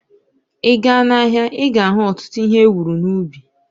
Ịga n'ahia, ịga ahu ọtụtụ ihe ewuru n'ubi